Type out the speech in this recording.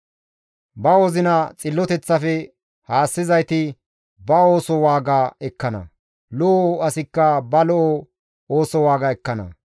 Ba wozina xilloteththafe haassizayti ba ooso waaga ekkana; lo7o asikka ba lo7o ooso waaga ekkana.